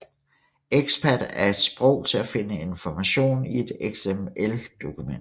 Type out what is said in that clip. XPath er et sprog til at finde information i et XML dokument